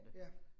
Ja